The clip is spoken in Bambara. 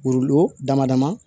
dama dama